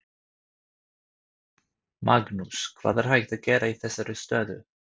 Magnús: Hvað er hægt að gera í þessari stöðu?